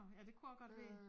Ja det kunne også godt være